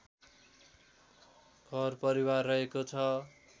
घर परिवार रहेको छ